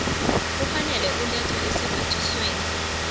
kufanele kulethwe esiphathisweni